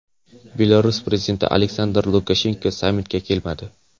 Belarus prezidenti Aleksandr Lukashenko sammitga kelmadi.